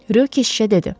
Rö keşişə dedi.